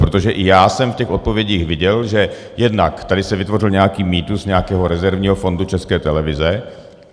Protože i já jsem v těch odpovědích viděl, že jednak tady se vytvořil nějaký mýtus nějakého rezervního fondu České televize.